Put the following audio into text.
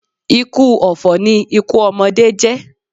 Ikú ọ̀fọ̀ ni ikú ọmọdé jẹ́.